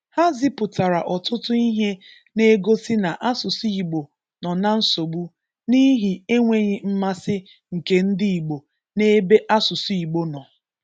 Ha zipụtara ọtụtụ ihe na-egosị na asụsụ Igbo nọ na nsogbu n'ihi enweghị mmasị nke ndị Igbo n'ebe asụsụ Igbo nọ.